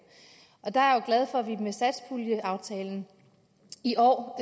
der er jeg jo glad for at vi med satspuljeaftalen i år hvor